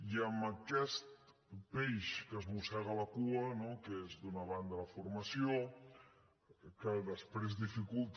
i amb aquest peix que es mossega la cua no que és d’una banda la formació que després dificulta